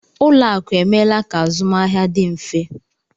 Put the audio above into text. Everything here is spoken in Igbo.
Ụlọakụ emeela ka azụmahịa dị mfe